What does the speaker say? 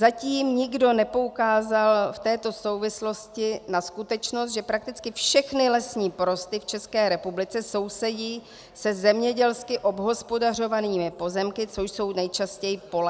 Zatím nikdo nepoukázal v této souvislosti na skutečnost, že prakticky všechny lesní porosty v České republice sousedí se zemědělsky obhospodařovanými pozemky, co jsou nejčastěji pole.